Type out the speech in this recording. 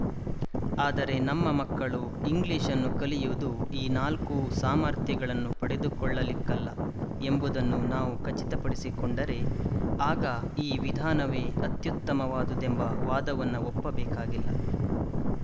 ಆದರೆ ನಮ್ಮ ಮಕ್ಕಳು ಇಂಗ್ಲಿಶ್‌ ಅನ್ನು ಕಲಿಯುವುದು ಈ ನಾಲ್ಕೂ ಸಾಮರ್ಥ್ಯಗಳನ್ನು ಪಡೆದುಕೊಳ್ಳಲಿಕ್ಕಲ್ಲ ಎಂಬುದನ್ನು ನಾವು ಖಚಿತ ಪಡಿಸಿಕೊಂಡರೆ ಆಗ ಈ ವಿಧಾನವೇ ಅತ್ಯುತ್ತಮವಾದುದೆಂಬ ವಾದವನ್ನು ಒಪ್ಪಬೇಕಾಗಿಲ್ಲ